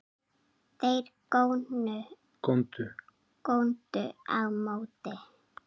Þeir góndu á móti.